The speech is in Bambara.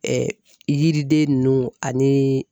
Ɛɛ yiriden nunnu aniii